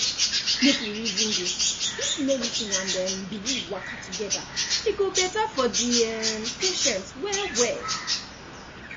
make we reason this if medicine and um belief waka together e go better for the um patient well well